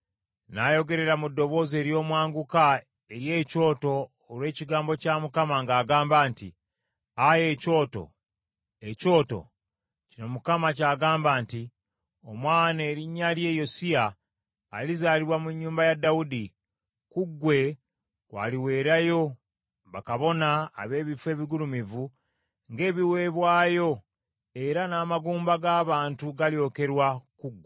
N’ayogerera mu ddoboozi ery’omwanguka eri ekyoto olw’ekigambo kya Mukama ng’agamba nti, “Ayi ekyoto, ekyoto! Kino Mukama ky’agamba nti, ‘Omwana erinnya lye Yosiya alizaalibwa mu nnyumba ya Dawudi, ku ggwe kw’aliweerayo bakabona ab’ebifo ebigulumivu ng’ebiweebwayo era n’amagumba g’abantu galyokerwa ku ggwe.’ ”